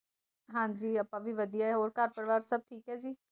ਹਾਂਜੀ ਆਪਾਂ ਵੀ ਵਧੀਆ ਹੈ। ਹੋਰ ਘਰ - ਪਰਿਵਾਰ ਸੱਭ ਠੀਕ ਹੈ?